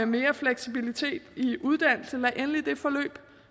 mere fleksibilitet i uddannelserne lad endelig det forløb